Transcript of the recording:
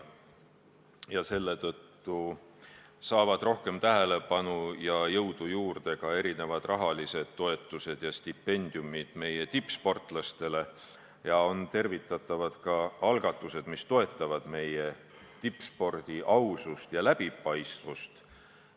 Selle tõttu saavad rohkem tähelepanu ja jõudu juurde ka erinevad rahalised toetused ja stipendiumid meie tippsportlastele ja on tervitatavad ka algatused, mis toetavad meie tippspordi ausust ja läbipaistvust.